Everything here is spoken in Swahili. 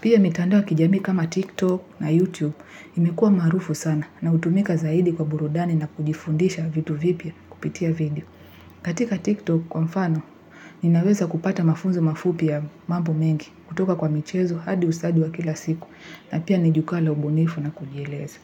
Pia mitandao ya kijamii kama TikTok na YouTube imekua maarufu sana na hutumika zaidi kwa burudani na kujifundisha vitu vipya kupitia video. Katika TikTok kwa mfano, ninaweza kupata mafunzo mafup ya mambo mengi kutoka kwa michezo hadi usadi wa kila siku na pia nijukwaa la ubunifu na kujieleza.